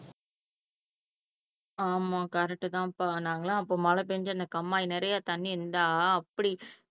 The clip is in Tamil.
ஆமா கரெக்ட் தான்பா நாங்க எல்லாம் அப்போ மழை பெய்ஞ்சு அந்த கம்மாய் நிறைய தண்ணி இருந்தா அப்படி